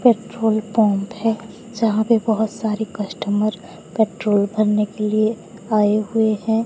Petrol pump है जहां पे बहोत सारे कस्टमर पेट्रोल भरने के लिए आए हुए है।